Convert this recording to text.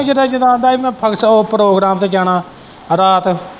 ਜਦੋਂ ਆਂਦਾ ਹੀ ਮੈਂ ਫੰਕਸ਼ ਉਹ ਪ੍ਰੋਗਰਾਮ ਤੇ ਜਾਣਾ ਰਾਤ।